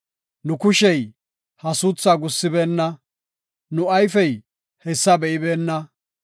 “Nu kushey ha suuthaa gussibeenna; nu ayfey hessa be7ibeenna.